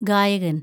ഗായകന്‍